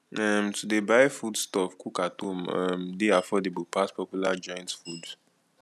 um to de buy food stuff cook at home um de affordable pass popular joints food